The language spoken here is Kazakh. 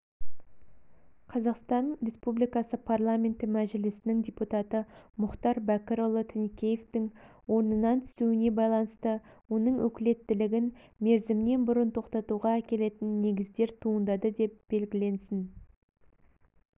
қазақстан республикасы парламенті мәжілісінің депутаты мұхтар бәкірұлы тінікеевтің орнынан түсуіне байланысты оның өкілеттігін мерзімінен бұрын тоқтатуға әкелетін негіздер туындады деп белгіленсін